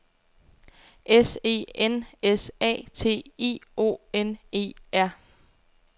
S E N S A T I O N E R